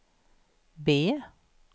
B